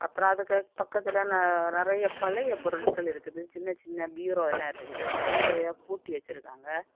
அப்புறம் அதுக்கு பக்கத்துல ந நறைய பழைய பொருட்கள் இருக்குது சின்ன சின்ன பீரோல்லா இருக்குது அந்த பீரோ எ பூட்டி வச்சிருக்காங்க.